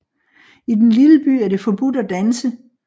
I den lille by er det forbudt at danse